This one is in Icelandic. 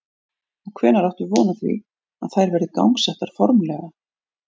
Og hvenær áttu von á því að þær verði gangsettar formlega?